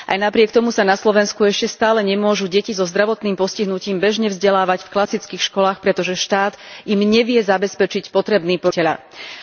Aj napriek tomu sa na Slovensku ešte stále nemôžu deti so zdravotným postihnutím bežne vzdelávať v klasických školách, pretože štát im nevie zabezpečiť potrebný počet asistentov učiteľa.